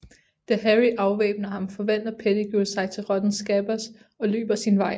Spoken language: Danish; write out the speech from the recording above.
Da Harry afvæbner ham forvandler Pettigrew sig til rotten Scabbers og løber sin vej